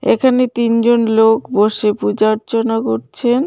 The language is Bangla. এখানে তিনজন লোক বসে পূজার্চনা করছেন.